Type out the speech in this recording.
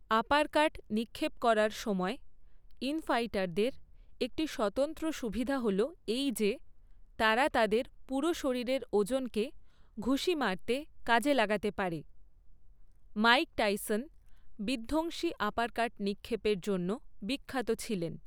Uppercut নিক্ষেপ করার সময় ইন ফাইটারদের একটি স্বতন্ত্র সুবিধা হল এই যে তারা তাদের পুরো শরীরের ওজনকে ঘুষি মারতে কাজে লাগাতে পারে। মাইক টাইসন বিধ্বংসী আপারকাট নিক্ষেপের জন্য বিখ্যাত ছিলেন।